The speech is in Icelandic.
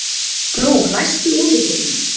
Gló, læstu útidyrunum.